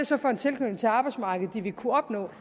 så for en tilknytning til arbejdsmarkedet de vil kunne opnå